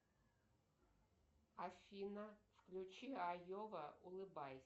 афина включи айова улыбайся